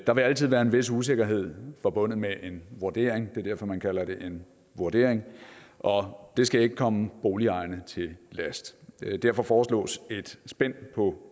der vil altid være en vis usikkerhed forbundet med en vurdering er derfor man kalder det en vurdering og det skal ikke komme boligejerne til last derfor foreslås et spænd på